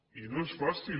i no és fàcil